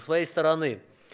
своей стороны